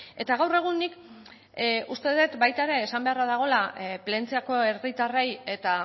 eta gaur egun nik uste dut baita ere esan beharra dagoela plentziako herritarrei eta